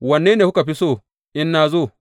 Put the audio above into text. Wanne kuka fi so in na zo?